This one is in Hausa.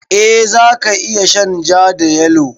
Eh za ka iya shan ja da yalo.